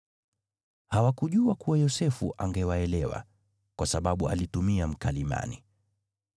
Hawakujua kuwa Yosefu angewaelewa, kwa sababu alitumia mkalimani.